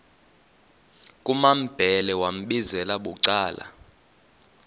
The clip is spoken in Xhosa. kumambhele wambizela bucala